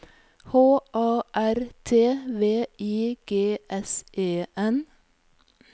H A R T V I G S E N